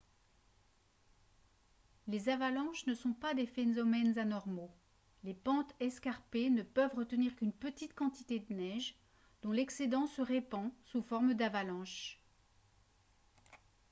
les avalanches ne sont pas des phénomènes anormaux les pentes escarpées ne peuvent retenir qu'une petite quantité de neige dont l'excédent se répand sous forme d'avalanche